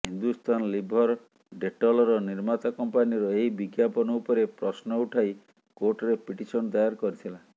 Hindustan Lever ଡେଟଲର ନିର୍ମାତା କମ୍ପାନୀର ଏହି ବିଜ୍ଞାପନ ଉପରେ ପ୍ରଶ୍ନ ଉଠାଇ କୋର୍ଟରେ ପିଟିସନ ଦାୟର କରିଥିଲା